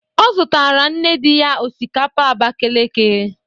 Ọ zutara nne dị ya osikapa Abakaliki.